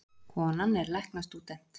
Konan er læknastúdent